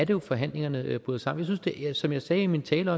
jo at forhandlingerne bryder sammen som jeg sagde i min tale